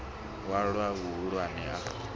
u a lowa vhuhulu a